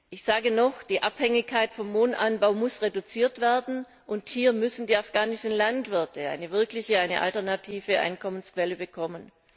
Ich sage noch Die Abhängigkeit vom Mohnanbau muss reduziert werden, und hier müssen die afghanischen Landwirte eine wirkliche, eine alternative Einkommensquelle bekommen.